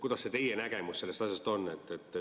Milline teie nägemus sellest asjast on?